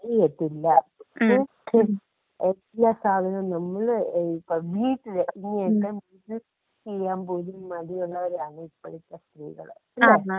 ചെയ്യത്തില്ല. ഏ എല്ലാ സാധനോം ഇപ്പോ നമ്മൾ വീട്ടിൽ നോട്ട്‌ ക്ലിയർ ചെയ്യാൻ പോലും മടിയുള്ളവരാണ് ഇപ്പോഴത്തെ സ്ത്രീകൾ അല്ലെ?